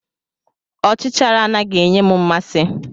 Ọchichara anaghị enye m mmasị.